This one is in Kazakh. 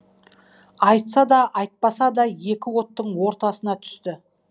айтса да айтпаса да екі оттың ортасына түсті